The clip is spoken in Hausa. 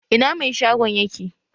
Ina mai shagon yake?